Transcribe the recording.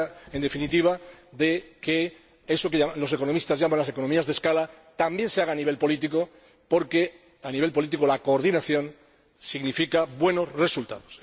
Se trata, en definitiva, de que eso que los economistas llaman las economías de escala también se haga a nivel político, porque a nivel político la coordinación significa buenos resultados.